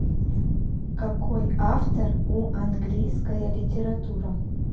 какой автор у английская литература